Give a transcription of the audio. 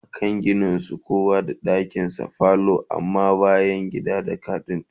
A da Akan Gina su kowa da dakinshinda falo amma bayangida da kitchen na tsakar gida